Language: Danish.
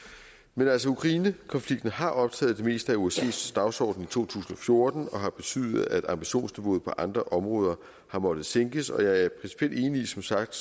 men altså ukrainekonflikten har optaget det meste af osces dagsorden i to tusind og fjorten og har betydet at ambitionsniveauet på andre områder har måttet sænkes og jeg er som sagt